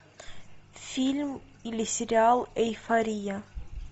фильм или сериал эйфория